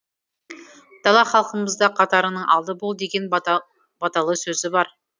дана халқымызда қатарыңның алды бол деген баталы сөзі бар